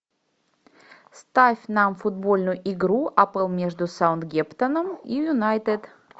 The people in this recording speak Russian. ставь нам футбольную игру апл между саутгемптоном и юнайтед